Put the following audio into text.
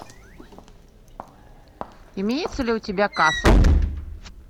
имеется ли у тебя касл